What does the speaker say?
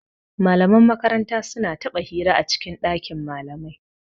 Malaman makaranta su na taɓa hira a cikin ɗakin malamai